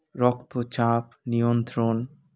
রক্তচাপ নিয়ন্ত্রণ